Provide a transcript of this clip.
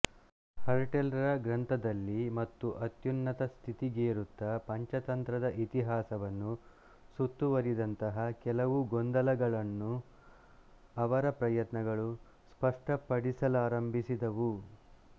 ಹರ್ಟೆಲ್ ರ ಗ್ರಂಥದಲ್ಲಿ ಮತ್ತು ಅತ್ಯುನ್ನತ ಸ್ಥಿತಿಗೇರುತ್ತಾ ಪಂಚತಂತ್ರದ ಇತಿಹಾಸವನ್ನು ಸುತ್ತುವರಿದಂತಹ ಕೆಲವು ಗೊಂದಲಗಳನ್ನು ಅವರ ಪ್ರಯತ್ನಗಳು ಸ್ಪಷ್ಟಪಡಿಸಲಾರಂಭಿಸಿದವು